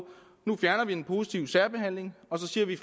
nu fjerner vi den positive særbehandling og så siger vi